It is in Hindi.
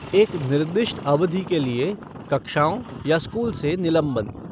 एक निर्दिष्ट अवधि के लिए कक्षाओं या स्कूल से निलंबन।